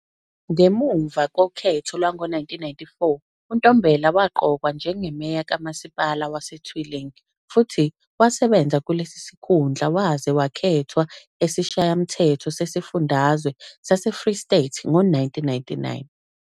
Ngemuva kokhetho lwango-1994, uNtombela waqokwa njengemeya kaMasipala waseTweeling futhi wasebenza kulesi sikhundla waze wakhethwa esiShayamthetho sesiFundazwe saseFree State ngo-1999.